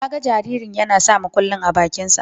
Na ga jaririn yana sa mukullin a bakinsa.